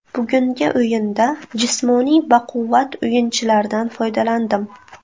Bugungi o‘yinda jismoniy baquvvat o‘yinchilardan foydalandim.